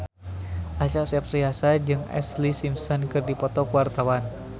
Acha Septriasa jeung Ashlee Simpson keur dipoto ku wartawan